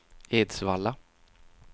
Edsvalla